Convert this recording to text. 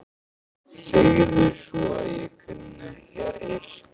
Segðu svo að ég kunni ekki að yrkja!